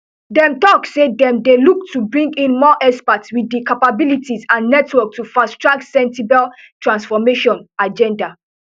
dem tok say dem dey look to bring in more experts wit di capabilities and networks to fast track sentebale transformation agenda